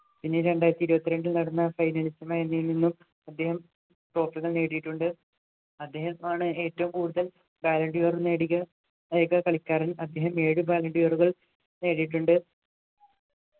പിന്നെ രണ്ടായിരത്തി ഇരുപത്തിരണ്ടിൽ നടന്ന ൽ നിന്ന് അദ്ദേഹം trophy കൾ നേടിയിട്ടുണ്ട് അദ്ദേഹമാണ് ഏറ്റവും കൂടുതൽ ballon d'or നേടിയ ഏക കളിക്കാരൻ അദ്ദേഹം ഏഴു ballon d'or കൾ നേടിയിട്ടുണ്ട്